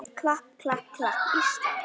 klapp, klapp, klapp, Ísland!